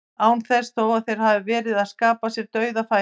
Án þess þó að þeir hafi verið að skapa sér dauðafæri.